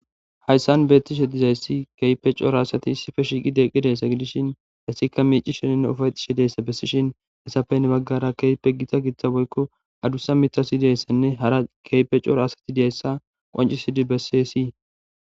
Hayssan beetti shedizayssi keype cora asati issife shiiqi deqqi deessa gidishin hissikka miici sheninne ufayxishe deessa bessishin hesafen baggara keype gita gitta boykko adussa mitasideessanne hara keype cora asati deeessa qancisidi bessesii